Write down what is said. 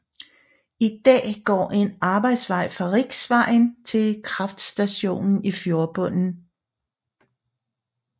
I dag går en arbejdsvej fra riksvejen til kraftstationen i fjordbunden